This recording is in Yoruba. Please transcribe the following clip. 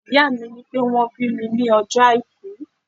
Ìyá mi ní pé wón bí mi ní ọjọ́ Àìkú.